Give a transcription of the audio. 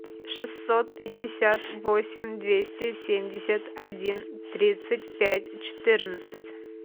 шестьсот пятьдесят восемь двести семьдесят один тридцать пять четырнадцать